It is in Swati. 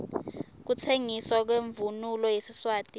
kutsengiswa kwemvunulo yesiswati